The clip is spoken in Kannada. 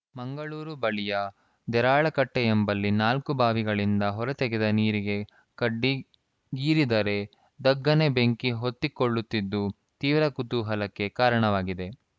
ಮಂಗಳೂರು ಬಳಿಯ ದೇರಳಕಟ್ಟೆಎಂಬಲ್ಲಿ ನಾಲ್ಕು ಬಾವಿಗಳಿಂದ ಹೊರತೆಗೆದ ನೀರಿಗೆ ಕಡ್ಡಿ ಗೀರಿದರೆ ಧಗ್ಗನೆ ಬೆಂಕಿ ಹೊತ್ತಿಕೊಳ್ಳುತ್ತಿದ್ದು ತೀವ್ರ ಕುತೂಹಲಕ್ಕೆ ಕಾರಣವಾಗಿದೆ